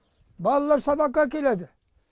балалар сабаққа келеді